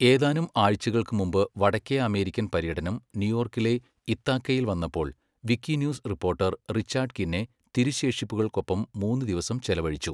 ഏതാനും ആഴ്ചകൾക്ക് മുമ്പ് വടക്കേ അമേരിക്കൻ പര്യടനം ന്യൂയോർക്കിലെ ഇത്താക്കയിൽ വന്നപ്പോൾ വിക്കിന്യൂസ് റിപ്പോർട്ടർ റിച്ചാർഡ് കിന്നെ തിരുശേഷിപ്പുകൾക്കൊപ്പം മൂന്ന് ദിവസം ചെലവഴിച്ചു.